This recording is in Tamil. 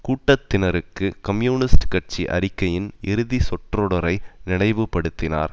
கூட்டத்தினருக்கு கம்யூனிஸ்ட் கட்சி அறிக்கையின் இறுதி சொற்றொடரை நினைவுபடுத்தினார்